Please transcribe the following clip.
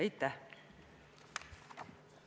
Aitäh!